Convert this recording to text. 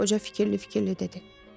Qoca fikirli-fikirli dedi.